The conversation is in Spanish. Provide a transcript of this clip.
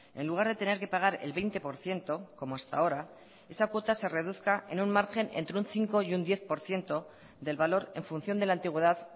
en lugar de tener que pagar el veinte por ciento como hasta ahora esa cuota se reduzca en un margen entre un cinco y un diez por ciento del valor en función de la antigüedad